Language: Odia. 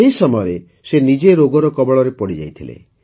ସେହି ସମୟରେ ସେ ନିଜେ ରୋଗର କବଳରେ ପଡ଼ିଯାଇଥିଲେ